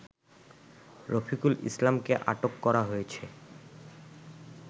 রফিকুল ইসলামকে আটক করা হয়েছে